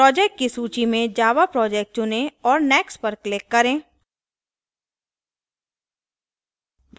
projects की सूची में java project चुनें और next पर click करें